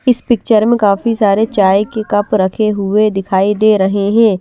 इस पिक्चर में काफी सारे चाय के कप रखे हुए दिखाई दे रहे हैं।